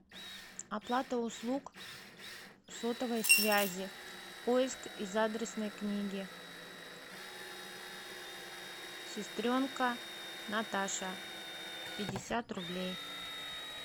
оплата услуг сотовой связи поиск из адресной книги сестренка наташа пятьдесят рублей